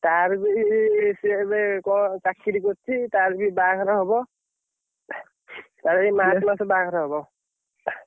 ତାର ବି ସେ ଏବେ କଣ ଚାକିରି କରିଛି ତାର ବାହାଘର ହବ। ତାର ଏଇ ମାର୍ଚ ମାସ ରେ ବାହାଘର ହବ।